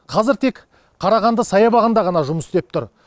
қазір тек қарағанды саябағында ғана жұмыс істеп тұр